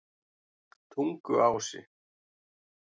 Tunguási